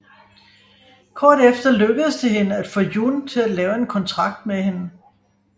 Kort efter lykkes det hende at få Jun til at lave en kontrakt med hende